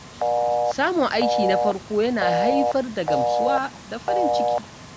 Samun aiki na farko yana haifar da gamsuwa da farin ciki.